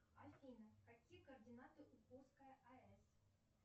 афина какие координаты у курская аэс